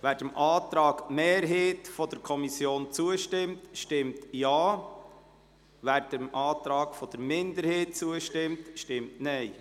Wer dem Antrag der Kommissionsmehrheit zustimmt, stimmt Ja, wer dem Antrag der Kommissionsminderheit zustimmt, stimmt Nein.